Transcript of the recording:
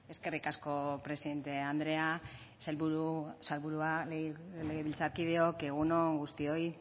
eskerrik asko presidente andrea sailburua legebiltzarkideok egun on guztioi